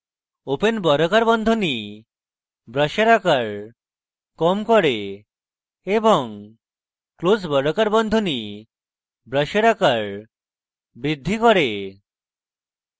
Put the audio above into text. open বর্গাকার বন্ধনী bracket আকার কম করে এবং close বর্গাকার বন্ধনী bracket আকার বাড়ায়